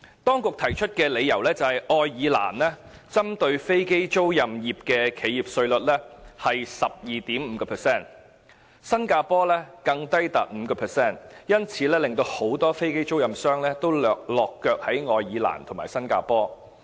當局提出的理由是，愛爾蘭針對飛機租賃業的企業稅率是 12.5%； 新加坡更低至 5%， 因此，很多飛機租賃商均選擇落腳愛爾蘭和新加坡。